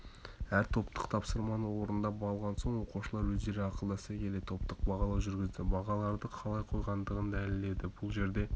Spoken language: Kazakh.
әр топтық тапсырманы орындап болған соң оқушылар өздері ақылдаса келе топтық бағалау жүргізді бағаларды қалай қойғандығын дәлелдеді бұл жерде